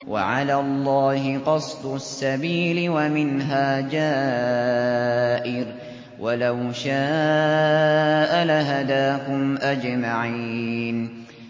وَعَلَى اللَّهِ قَصْدُ السَّبِيلِ وَمِنْهَا جَائِرٌ ۚ وَلَوْ شَاءَ لَهَدَاكُمْ أَجْمَعِينَ